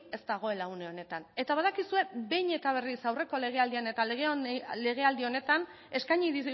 ez dagoela une honetan eta badakizu behin eta berriz aurreko legealdian eta legealdi honetan eskaini